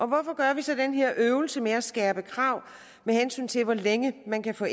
hvorfor gør vi så den her øvelse med at skærpe kravene til hvor længe man kan få